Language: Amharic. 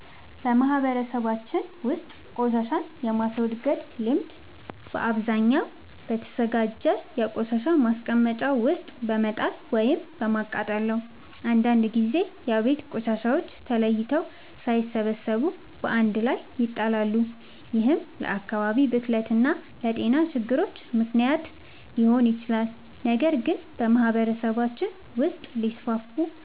በማህበረሰባችን ውስጥ ቆሻሻን የማስወገድ ልምድ በአብዛኛው በተዘጋጀ የቆሻሻ ማስቀመጫ ውስጥ በመጣል ወይም በማቃጠል ነው። አንዳንድ ጊዜ የቤት ቆሻሻዎች ተለይተው ሳይሰበሰቡ በአንድ ላይ ይጣላሉ፤ ይህም ለአካባቢ ብክለት እና ለጤና ችግሮች ምክንያት ሊሆን ይችላል። ነገር ግን በማህበረሰባችን ውስጥ ሊስፋፉ